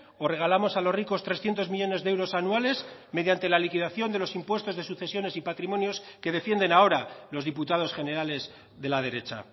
o regalamos a los ricos trescientos millónes de euros anuales mediante la liquidación de los impuestos de sucesiones y patrimonios que defienden ahora los diputados generales de la derecha